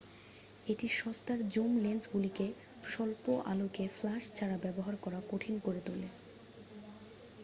এটি সস্তার জুম লেন্সগুলিকে স্বল্প-আলোকে ফ্ল্যাশ ছাড়া ব্যবহার করা কঠিন করে তোলে